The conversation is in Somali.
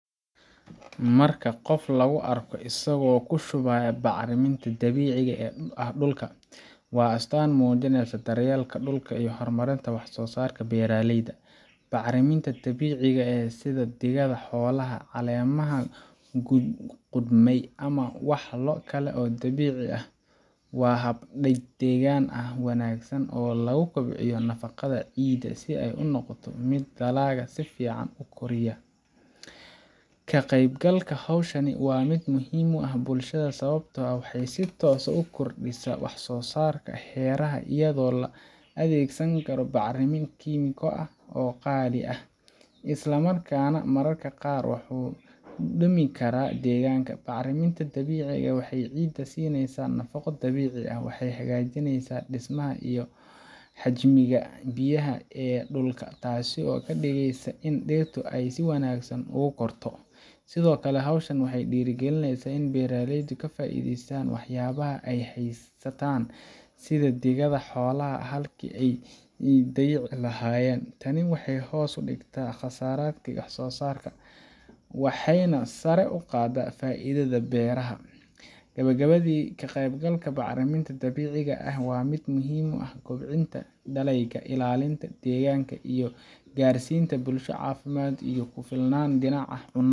Marka qof lagu arko isagoo ku shubaya bacrinta dabiiciga ah dhulka, waa astaan muujinaysa daryeelka dhulka iyo horumarinta wax-soo-saarka beeraleyda. Bacriminta dabiiciga ah – sida digada xoolaha, caleemaha qudhmay, ama walxo kale oo dabiici ah – waa hab deegaan ahaan u wanaagsan oo lagu kobciyo nafaqada ciidda si ay u noqoto mid dalagga si fiican u kori kara. Ka qaybgalka hawshan waa mid muhiim u ah bulshada sababtoo ah waxay si toos ah u kordhisaa wax-soo-saarka beeraha, iyadoo aan la adeegsan bacrimo kiimiko ah oo qaali ah, isla markaana mararka qaar wax u dhimi kara deegaanka. Bacriminta dabiiciga ah waxay ciidda siinaysaa nafaqo dabiici ah, waxayna hagaajisaa dhismaha iyo xajmiga biyaha ee dhulka, taasoo ka dhigaysa in dhirta ay si wanaagsan ugu korto. Sidoo kale, hawshan waxay dhiirrigelisaa in beeraleydu ka faa’iideystaan waxyaabaha ay haystaan sida digada xoolaha halkii ay dayici lahaayeen. Tani waxay hoos u dhigtaa kharashaadka wax-soo-saarka, waxayna sare u qaaddaa faa’iidada beeralaha. Gabagabadii, ka qaybgalka bacriminta dabiiciga ah waa mid muhiim u ah kobcinta dalagyada, ilaalinta deegaanka, iyo gaarsiinta bulsho caafimaad iyo isku filnaan dhinaca cunnada